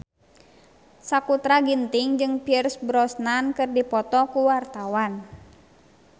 Sakutra Ginting jeung Pierce Brosnan keur dipoto ku wartawan